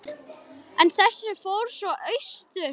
En þessi fór svo austur.